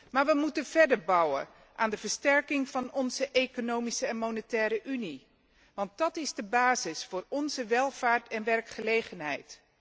Maar we moeten verder bouwen aan de versterking van onze Economische en Monetaire Unie, want dat is de basis voor onze welvaart en werkgelegenheid.